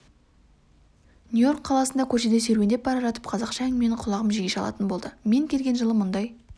нью-йорк қаласында көшеде серуендеп бара жатып қазақша әңгімені құлағым жиі шалатын болды мен келген жылы мұндай